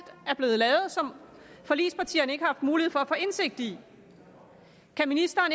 er blevet lavet og som forligspartierne ikke har mulighed for at få indsigt i kan ministeren